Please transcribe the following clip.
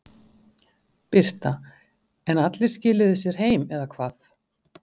Birta: En allir skiluðu sér heim eða hvað?